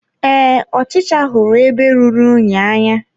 Ee, ọchịcha hụrụ ebe rụrụ unyi n'anya.